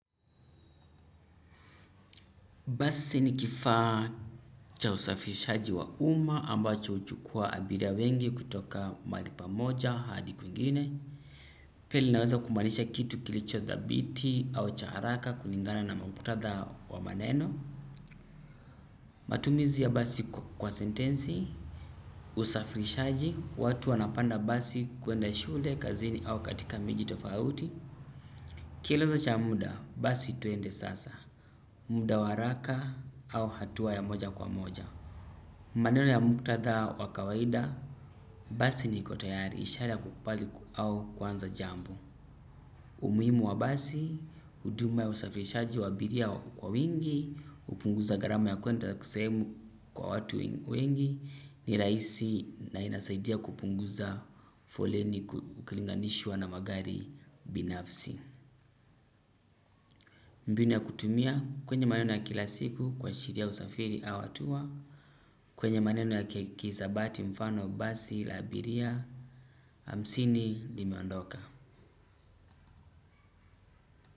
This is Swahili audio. Basi ni kifaa cha usafirishaji wa umma ambacho huchukua abiria wengi kutoka mahali pamoja hadi kwingine. Pia linaweza kumaanisha kitu kilicho dhabiti au cha haraka kulingana na muktadha wa maneno. Matumizi wa basi kwa sentesi usafirishaji watu wanapanda basi kuenda shuleni kazi au miji tofauti. Kielezo cha muda, basi twende sasa. Muda wa haraka au hatua ya moja kwa moja. Maneno ya muktadha wa kawaida, basi niko tayari, ishara ya kukubali au kuanza jambo. Umuhimu wa basi, huduma ya usafirishaji wa abiria kwa wingi, hupunguza gharama ya kwenda sehemu kwa watu wengi, ni rahiai na inasaidia kupunguza foleni ukilinganishwa na magari binafsi. Mbinu ya kutumia kwenye maneno ya kila siku kuashiria usafiri au hatua kwenye maneno ya kihisabati mfano basi la abiria hamsini limeondoka.